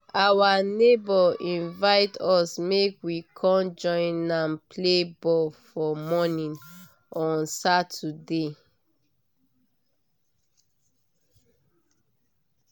our neighbor invite us make we con join am play ball for morning on saturday